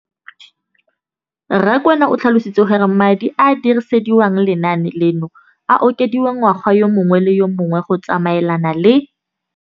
Rakwena o tlhalositse gore madi a a dirisediwang lenaane leno a okediwa ngwaga yo mongwe le yo mongwe go tsamaelana le